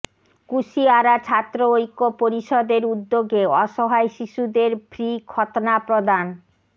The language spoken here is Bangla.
কুশিয়ারা ছাত্র ঐক্য পরিষদের উদ্যোগে অসহায় শিশুদের ফ্রি খৎনা প্রদান